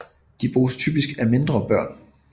De bruges typisk af mindre børn